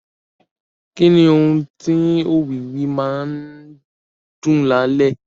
Kí ni ohùn tí òwìwí máa ń dún lálẹ́?